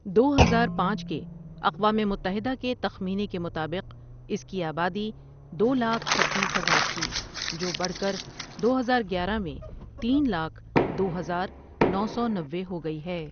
دو ہزار پانچ کے اقوام متحدہ کے تخمینے کے مطابق اس کی آبادی دو لاکھ چھتیس ہزار تھی، جو بڑھ کر دو ہزار گیارہ میں تین لاکھ دو ہزار نو سو نوے ہو گئ ہے۔